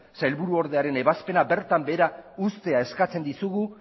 sailburu ordearen ebazpena bertan behera uztea eskatzen dizugu